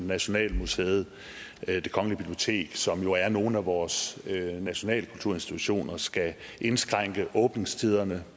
nationalmuseet det kongelige bibliotek som jo er nogle af vores nationalkulturinstitutioner skal indskrænke åbningstiderne